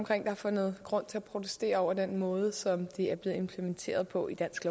har fundet grund til at protestere over den måde som det er blevet implementeret på i dansk